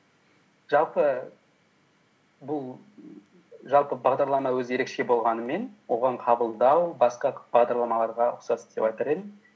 жалпы бұл жалпы бағдарлама өзі ерекше болғанымен оған қабылдау басқа бағдарламаларға ұқсас деп айтар едім